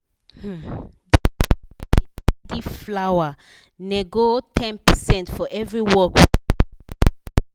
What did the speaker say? money um wey bank da cut for gbese and atm um da da over e da para me